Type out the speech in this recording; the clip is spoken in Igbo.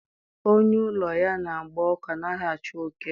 Onye ụlọ ya na-agba ọkụ anaghị achụ oke